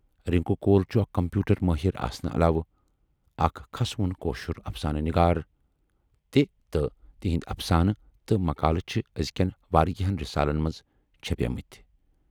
رِنکو کول چھُ اکھ کمپیوٗٹر مٲہِر آسنہٕ علاوٕ اکھ کھسہٕ وُن کٲشُر افسانہٕ نِگار تہِ تہٕ تِہٕندۍ افسانہٕ تہٕ مقالہٕ چھِ ٲزۍکٮ۪ن واریاہَن رِسالن منز چھپے مٕتۍ۔